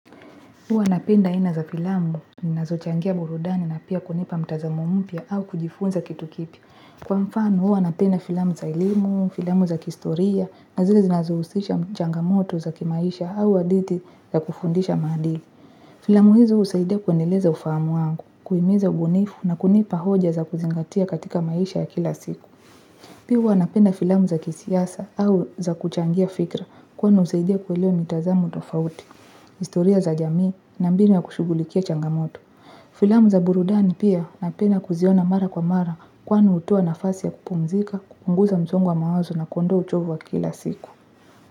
Huwa napenda aina za filamu, zinazochangia burudani na pia kunipa mtazamo mpya au kujifunza kitu kipya. Kwa mfano, huwa napenda filamu za elimu, filamu za kihistoria, na zile zinazohusisha changamoto za kimaisha au hadithi za kufundisha maadili. Filamu hizo husaidia kuendeleza ufahamu wangu, kuhimiza ubunifu na kunipa hoja za kuzingatia katika maisha ya kila siku. Pia uwa napenda filamu za kisiasa au za kuchangia fikra kwani husaidia kuelewa mitazamo tofauti. Historia za jamii na mbinu ya kushugulikia changamoto. Filamu za burudani pia napendaa kuziona mara kwa mara kwa hutoa nafasi ya kupumzika kupunguza msongo wa mawazo na kuondoa uchovu wa kila siku.